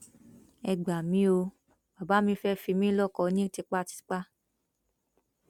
ẹ gbà mí o bàbá mi fẹẹ fi mí lọkọ ní tipátipá